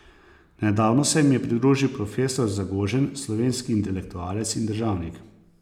Nedavno se jim je pridružil profesor Zagožen, slovenski intelektualec in državnik.